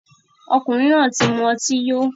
Ọkunrin náà ti muti yó